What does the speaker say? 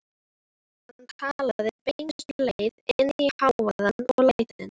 Hann talaði beinustu leið inn í hávaðann og lætin.